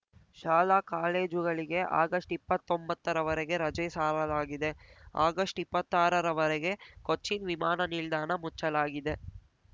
ಶಾಲಾ ಕಾಲೇಜುಗಳಿಗೆ ಆಗಸ್ಟ್ ಇಪ್ಪತ್ತೊಂಬತ್ತರ ವರೆಗೆ ರಜೆ ಸಾರಲಾಗಿದೆ ಆಗಸ್ಟ್ಇಪ್ಪತ್ತಾರ ವರೆಗೆ ಕೊಚ್ಚಿನ್‌ ವಿಮಾನ ನಿಲ್ದಾಣ ಮುಚ್ಚಲಾಗಿದೆ